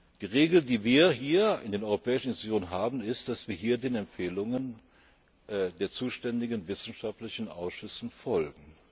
Die Regel, die wir hier in den europäischen Institutionen haben, ist, dass wir den Empfehlungen der zuständigen wissenschaftlichen Ausschüsse folgen.